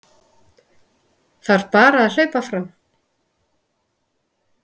Þarf bara að hlaupa fram